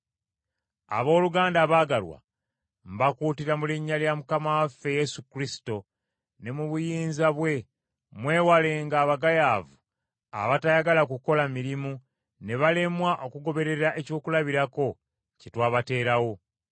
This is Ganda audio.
Abooluganda abaagalwa, mbakuutira mu linnya lya Mukama waffe Yesu Kristo ne mu buyinza bwe, mwewalenga abagayaavu abatayagala kukola mirimu ne balemwa okugoberera ekyokulabirako kye twabateerawo.